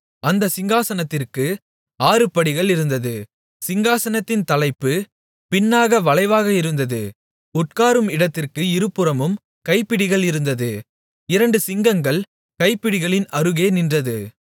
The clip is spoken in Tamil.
அந்தச் சிங்காசனத்திற்கு ஆறு படிகள் இருந்தது சிங்காசனத்தின் தலைப்பு பின்னாக வளைவாக இருந்தது உட்காரும் இடத்திற்கு இருபுறமும் கைப்பிடிகள் இருந்தது இரண்டு சிங்கங்கள் கைப்பிடிகளின் அருகே நின்றது